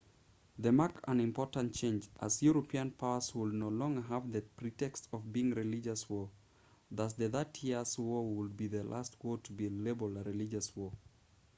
this marked an important change as european powers would no longer have the pretext of being religious wars thus the thirty years' war would be the last war to be labeled a religious war